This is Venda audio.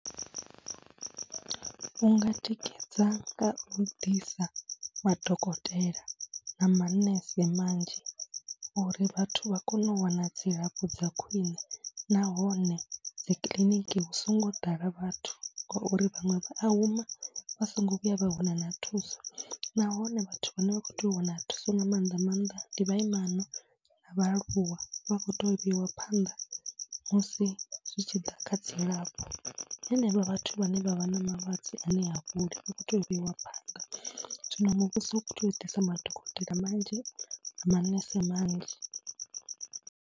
U nga tikedza nga u ḓisa madokotela na manese manzhi uri vhathu vha kone u wana dzilafho dza khwiṋe nahone dzi kiḽiniki hu songo ḓala vhathu ngauri vhaṅwe vha a huma vha songo vhuya vha wana na thuso, nahone vhathu vhane vha khou tea u wana thuso nga maanḓa maanḓa ndi vhaimana na vhaaluwa. Vha khou tea u vheiwa phanḓa musi zwi tshi ḓa kha dzilafho, henevho vhathu vhane vha vha na malwadze ane ha fholi vha khou tea u vheiwa phaḓa. Zwino muvhuso u tea u ḓisa madokotela manzhi na manese manzhi.